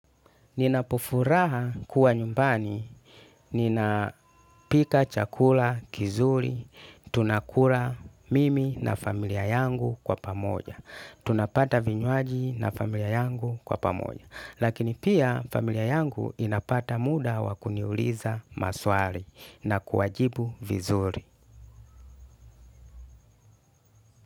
Ninapofuraha kuwa nyumbani. Ninapika chakula kizuri. Tunakura mimi na familia yangu kwa pamoja. Tunapata vinywaji na familia yangu kwa pamoja. Lakini pia familia yangu inapata muda wa kuniuliza maswali na kuwajibu vizuri.